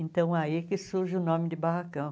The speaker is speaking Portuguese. Então, aí que surge o nome de barracão.